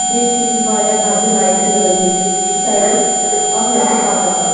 .بیٚیہِ چھ ییٚتٮ۪تھ واریاہ بجہِ لایٹہٕ لٲگِتھ ییٚتٮ۪تھ چُھ سایڈس اکھ لٔڑکہٕ پکان